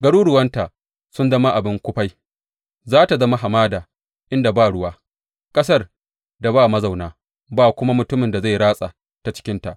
Garuruwanta sun zama abin kufai, za tă zama hamada inda ba ruwa, ƙasar da ba mazauna, ba kuma mutumin da zai ratsa ta cikinta.